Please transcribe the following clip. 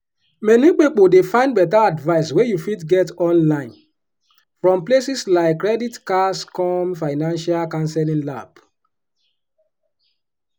many pipo dey find better advice wey you fit get online from places like creditcards.com financial counseling lab.